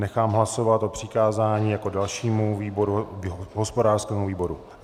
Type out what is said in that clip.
Nechám hlasovat o přikázání jako dalšímu výboru hospodářskému výboru.